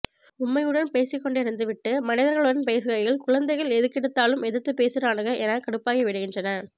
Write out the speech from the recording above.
பொம்மையுடன் பேசிக் கொண்டிருந்து விட்டு மனிதர்களுடன் பேசுகையில் குழந்தைகள் எதுக்கெடுத்தாலும் எதிர்த்து பேசறானுக என கடுப்பாகி விடுகின்றன